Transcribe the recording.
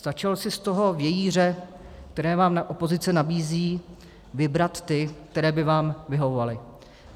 Stačilo si z toho vějíře, který vám opozice nabízí, vybrat ty, které by vám vyhovovaly.